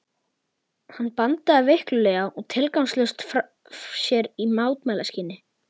Hann bandaði veiklulega og tilgangslaust frá sér í mótmælaskyni.